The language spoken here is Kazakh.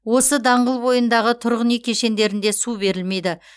осы даңғыл бойындағы тұрғын үй кешендерінде су берілмейді